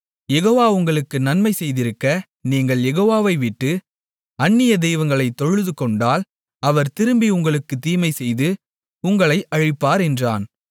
யெகோவா உங்களுக்கு நன்மை செய்திருக்க நீங்கள் யெகோவாவை விட்டு அந்நிய தெய்வங்களைத் தொழுதுகொண்டால் அவர் திரும்பி உங்களுக்குத் தீமை செய்து உங்களை அழிப்பார் என்றான்